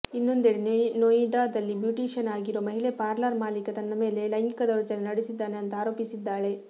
ಇನ್ನೊಂದೆಡೆ ನೊಯ್ಡಾದಲ್ಲಿ ಬ್ಯೂಟಿಶಿಯನ್ ಆಗಿರೋ ಮಹಿಳೆ ಪಾರ್ಲರ್ ಮಾಲೀಕ ತನ್ನ ಮೇಲೆ ಲೈಂಗಿಕ ದೌರ್ಜನ್ಯ ನಡೆಸಿದ್ದಾನೆ ಅಂತಾ ಆರೋಪಿಸಿದ್ದಾಳೆ